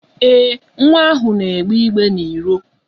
Ee, nwa ahụ na-egbe igbe n'iro.